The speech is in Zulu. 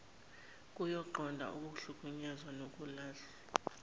yokunqanda ukuhlukunyezwa nokulahlwa